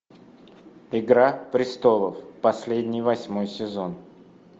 игра престолов последний восьмой сезон